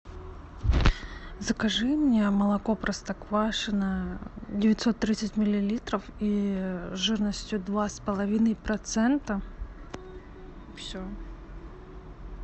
закажи мне молоко простоквашино девятьсот тридцать миллилитров и жирностью два с половиной процента все